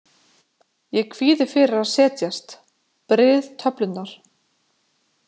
Ég kvíði fyrir að setjast, bryð töflurnar.